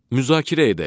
Müzakirə edək.